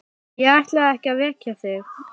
Ég ætlaði ekki að vekja þig.